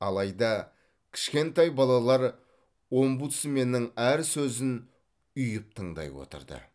алайда кішкентай балалар омбудсменнің әр сөзін ұйып тыңдай отырды